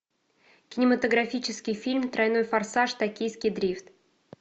кинематографический фильм тройной форсаж токийский дрифт